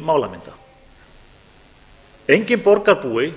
málamynda enginn borgarbúi